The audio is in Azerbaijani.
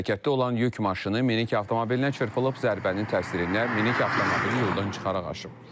Hərəkətdə olan yük maşını minik avtomobilinə çırpılıb, zərbənin təsirindən minik avtomobili yoldan çıxaraq aşıb.